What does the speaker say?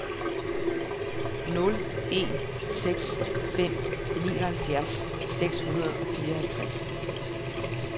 nul en seks fem nioghalvfjerds seks hundrede og fireoghalvtreds